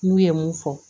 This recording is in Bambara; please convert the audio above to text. N'u ye mun fɔ